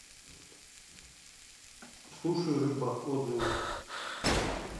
суши рыба отзывы